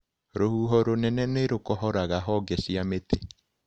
Rũhuho rũnene nĩrũkohoraga honge cia mĩtĩ.